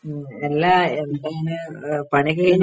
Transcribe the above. ഉം അല്ല എന്താ ഇങ്ങനെ ആ പണിയൊക്കെ കഴിഞ്ഞോ?